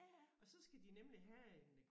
Og så skal de nemlig have en øh